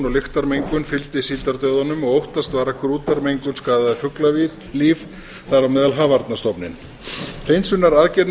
lyktarmengun fylgdi síldardauðanum og óttast var að grútarmengun skaðaði fuglalíf þar á meðal hafarnarstofninn hreinsunaraðgerðir